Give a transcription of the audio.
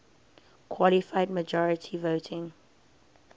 qualified majority voting